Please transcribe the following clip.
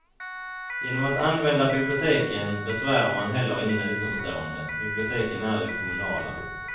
Genom att använda biblioteken besvärar man heller ingen utomstående, biblioteken är ju kommunala.